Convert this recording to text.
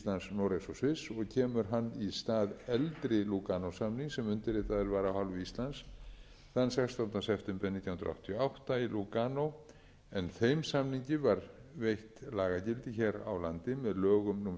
sviss og kemur hann í stað eldri lúganósamnings sem undirritaður var af hálfu íslands þann sextánda september nítján hundruð áttatíu og átta í lúganó en þeim samning var veitt lagagildi hér á landi með lögum númer sextíu og átta hundrað níutíu og níu g um